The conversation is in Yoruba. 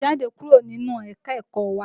Jáde kúrò ní ẹ̀ka-ẹ̀kọ́ wá!